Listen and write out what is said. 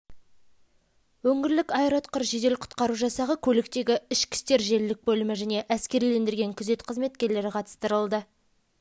өңірлік аэроұтқыр жедел құтқару жасағы көліктегі ішкі істер желілік бөлімі және әскерилендірілген күзет қызметкерлері қатыстырылды